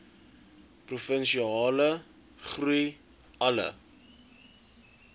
provinsiale groei alle